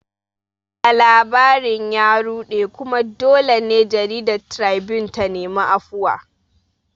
Labarin ya ruɗe, kuma dole ne jaridar Tribune ta nemi afuwa